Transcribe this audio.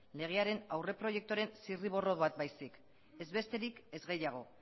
legearen aurre proiekturen zirriborra bat baizik ez besterik ez gehiago